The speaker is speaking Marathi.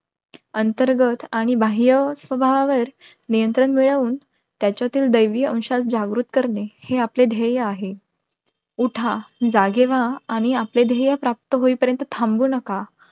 अंतर्गत आणि बाह्य स्वभावावर नियंत्रण मिळवून त्याच्यातून दैवी अंश जागृत करणे, हे आपले ध्येय आहे. उठा, जागे व्हा, आणि आपले ध्येय प्राप्त होई पर्यंत थांबू नका